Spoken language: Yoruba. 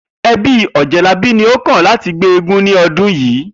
E̩bí Ò̩jé̩labí ni ó kàn láti gbé eégún ní o̩dún yìí